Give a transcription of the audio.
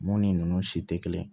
Mun ni ninnu si tɛ kelen ye